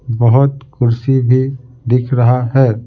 बहुतकुर्सी भी दिख रहा है ।